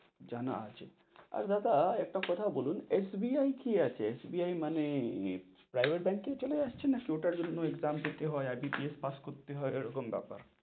জানা আছে, আর দাদা একটা কথা বলুন SBI কি আছে? SBI মানে private ব্যাংকে চলে আসছে নাকি ওটার জন্যে exam দিতে হয়, IBPS পাস্ করতে হয়, এরকম বেপার,